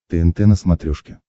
тнт на смотрешке